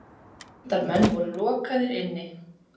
Fundarmenn voru lokaðir inni.